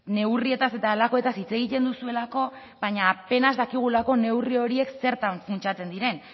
neurrietaz eta halakoetaz hitz egiten duzuelako baina apenas dakigulako neurri horiek zertan funtsatzen diren